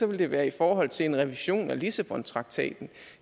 vil det være i forhold til en revision af lissabontraktaten